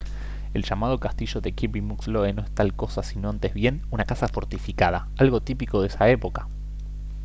el llamado castillo de kirby muxloe no es tal cosa sino antes bien una casa fortificada algo típico de esa época